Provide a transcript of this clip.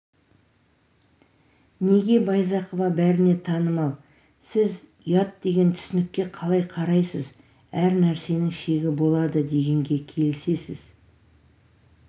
неге байзақова бәріне танымал сіз ұят деген түсінікке қалай қарайсыз әр нәрсенің шегі болады дегенге келісесіз